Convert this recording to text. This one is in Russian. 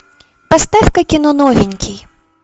поставь ка кино новенький